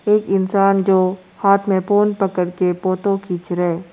एक इंसान जो हाथ में फोन पकड़ के फोटो खींच रहा है।